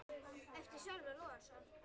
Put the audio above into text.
eftir Sölva Logason